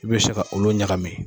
I bɛ se ka olu ɲagami